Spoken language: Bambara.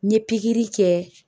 N ye pikiri kɛ